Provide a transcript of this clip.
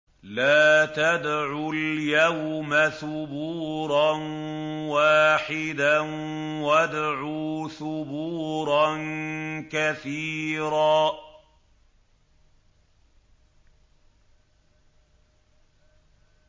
لَّا تَدْعُوا الْيَوْمَ ثُبُورًا وَاحِدًا وَادْعُوا ثُبُورًا كَثِيرًا